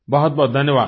बहुतबहुत धन्यवाद